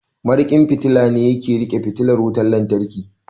Mariƙin fitila ne yake riƙe fitilar wutan lantarki